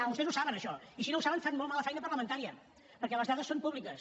vostès ho saben això i si no ho saben fan molt mala feina parlamentària perquè les dades són públiques